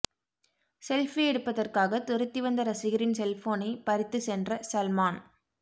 selfie எடுப்பதற்காக துரத்தி வந்த ரசிகரின் செல்போனை பறித்து சென்ற சல்மான்